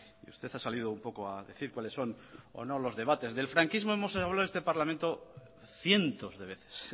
y usted ha salido un poco a decir cuales son o no los debates del franquismo hemos hablado en este parlamento cientos de veces